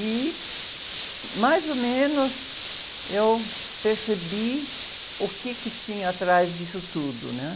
E, mais ou menos, eu percebi o quê que tinha atrás disso tudo, né?